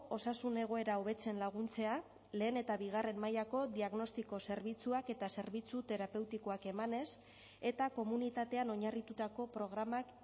osasun egoera hobetzen laguntzea lehen eta bigarren mailako diagnostiko zerbitzuak eta zerbitzu terapeutikoak emanez eta komunitatean oinarritutako programak